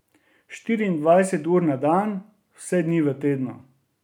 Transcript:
Štiriindvajset ur na dan, vse dni v tednu.